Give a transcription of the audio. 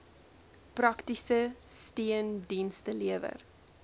praktiese steundienste lewer